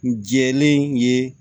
N jɛlen ye